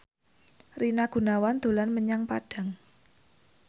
Rina Gunawan dolan menyang Padang